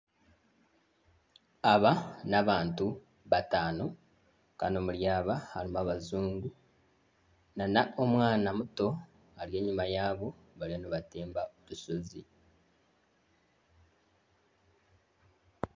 Aba n'abantu bataano kandi omuri aba harimu abajungu na n'omwana muto ari enyuma yaabo bariyo nibatemba orushozi.